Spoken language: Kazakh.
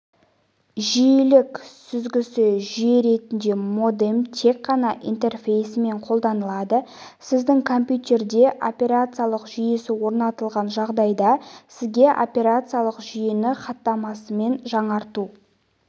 жиілік сүзгісі жүйе ретінде модем тек қана интерфейсімен қолданылады сіздің компьютерде операциялық жүйесі орнатылған жағдайда сізге операциялық жүйені хаттамасымен жаңарту